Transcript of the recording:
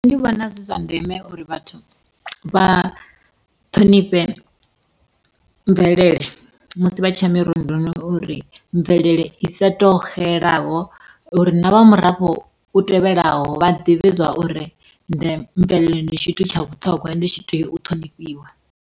Nṋe ndi vhona zwi zwa ndeme uri vhathu vha ṱhonifhe, mvelele musi vha tshiya mirunduni uri mvelele i sa to xelavho uri na vha murafho u tevhelaho vha ḓivhe zwa uri mvelelo ndi tshithu tsha vhuṱhongwa ende tshi tea u ṱhonifhiwa.